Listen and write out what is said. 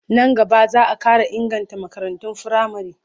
Nan gaba za a ƙara inganta makarantun firamare.